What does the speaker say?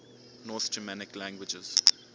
north germanic languages